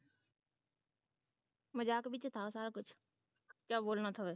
ਮਜਾਕ ਵਿੱਚ ਥਾ ਸਾਰਾ ਕੁੱਛ ਕਿਆ ਬੋਲਣਾ ਥਾ